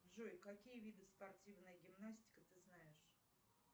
джой какие виды спортивная гимнастика ты знаешь